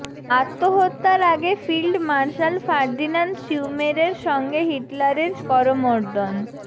আত্মহত্যার আগে field marshal Ferdinand শ্যুমেরের সঙ্গে হিটলারের করমর্দন